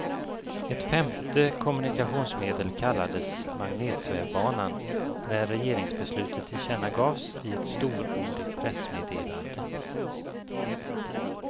Ett femte kommunikationsmedel kallades magnetsvävbanan, när regeringsbeslutet tillkännagavs i ett storordigt pressmeddelande.